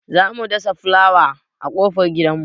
Za mu dasa fulawa a ƙofar gidan mu.